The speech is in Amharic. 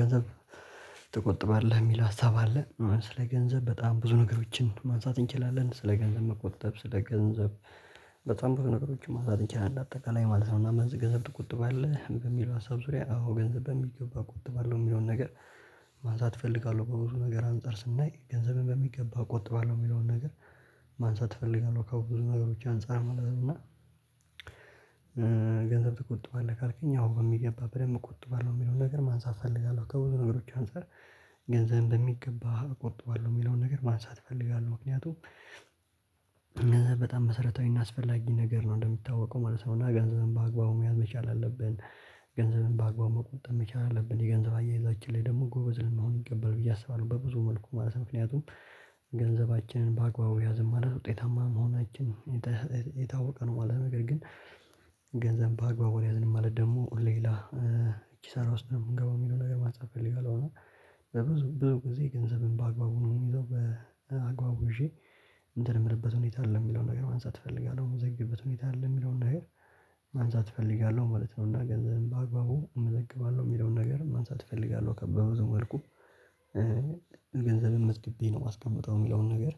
ገንዘብ ትቆጥባለህ የሚል ሀሳብ አለ ስለ ገንዘብ በጣም ብዙ ነገሮችን ማንሳት እንችላለን ስለ ገንዘብ መቆጠብ ስለ ገንዘብ በጣም በሆነ ነገሮች ማንሳት እንችላለን። አጠቃላይ ማለት ነው። እና ገንዘብ ትቆጥብአለህ በሚለው ሀሳብ ዙሪያ አዎ ገንዘብ በሚገባ እቆጥባለሁ የሚለውን ነገር ማንሳት እፈልጋለሁ። በብዙ ነገር አንፃር ስናይ ገንዘብን በሚገባ እቆጥባለሁ የሚለውን ነገር ማንሳት እፈልጋለሁ። ከብዙ ነገሮች አንፃር ማለት ነው። እና ገንዘብ ትቆጥባለህ ካልከኝ አሁን በሚገባ በደንብ እቆጥባለሁ የሚለውን ነገር ማንሳት እፈልጋለሁ። ከብዙ ነገሮች አንፃር ገንዘብ በሚገባ እቆጥባለሁ የሚለውን ነገር ማንሳት እፈልጋለሁ። ምክንያቱም ገንዘብ በጣም መሰረታዊ እና አስፈላጊ ነገር ነው እንደሚታወቀው ማለት ነው። ገንዘብን በአግባቡ መያዝ መቻል አለብን። ገንዘብን በአግባቡ መቆጠብ መቻል አለብን የገንዘብ አያይዛችን ላይ ደግሞ ጎበዝ ልንሆን ይገባል ብዬ አስባለሁ። በብዙ መልኩ ማለት ምክንያቱም ገንዘባችንን በአግባቡ ያዝን ማለት ውጤታማ መሆናችን የታወቀ ነው። የማለው ነገር ግን። ገንዘብ በአግባቡ አልያዝንም ማለት ደግሞ ሌላ ኪሳራ ውስጥ ነው የምገባው የሚለውን ነገር ማንሳት እፈልጋለሁና። በብዙ ብዙ ጊዜ ገንዘብን በአግባቡ ይዘው በአግባቡ ይዤ እንትን ምልበት ሁኔታ አይደለም የሚለውን ነገር ማንሳት እፈልጋለሁ። የምዘግብበት ሁኔታ አለ የሚለውን ነገር ማንሳት እፈልጋለሁ ማለት ነው። እና ገንዘብም በአግባቡ እመዘግባለሁ የሚለውን ነገር ማንሳት እፈልጋለሁ። ከበዙ መልኩ ገንዘብን መዝግቤ ነው የማስቀምጠው የሚለውን ነገር